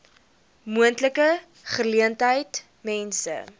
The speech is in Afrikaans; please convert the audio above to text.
moontlike geleentheid mense